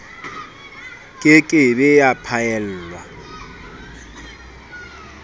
ke ke be ya phaellwa